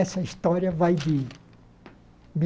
Essa história vai de de